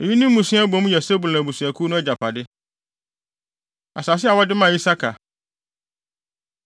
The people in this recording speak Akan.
Eyi ne mmusua a ɛbɔ mu yɛ Sebulon abusuakuw no agyapade. Asase A Wɔde Maa Isakar